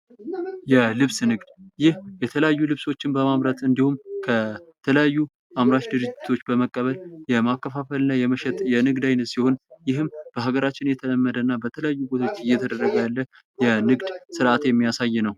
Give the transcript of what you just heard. የልብስ ንግድ ይህ የተለያዩ ልብሶችን በማምረት እንዲሁም ከተለያዩ አምራች ድርጅቶች በመቀበል የማከፋፈልና የመሸጥ የንግድ አይነት ሲሆን ፤ ይህም በሀገራችን የተለመደና በተለያዩ ቦታዎች እየተደረገ ያለ የንግድ ስርዓት የሚያሳይ ነው።